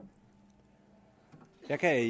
er